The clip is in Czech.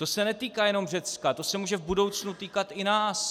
To se netýká jenom Řecka, to se může v budoucnu týkat i nás.